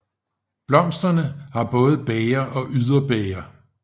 Blomsterne har både bæger og yderbæger